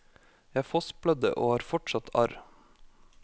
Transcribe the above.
Jeg fossblødde og har fortsatt arr.